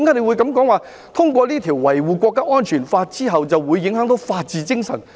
為何他會說通過這項《香港國安法》後會影響法治精神呢？